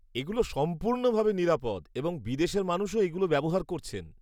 এগুলো সম্পূর্ণ ভাবে নিরাপদ এবং বিদেশের মানুষও এগুলো ব্যবহার করছেন।